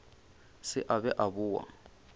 se a be a boa